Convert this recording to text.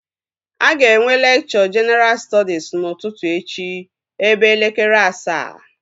Aga enwe lekchọ jenaral stọdis n'ụtụtụ echi ebe elekere asaa